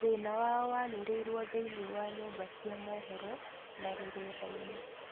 Thĩna wao wanĩrĩrio thĩinĩ wa nyũmba cia mohoro na rũrendaĩinĩ